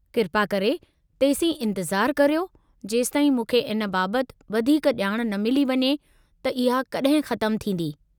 किरपा करे तेसीं इंतिज़ारु करियो जेसिताईं मूंखे इन बाबतु वधीकु ॼाण न मिली वञे त इहा कड॒हिं ख़तमु थींदी।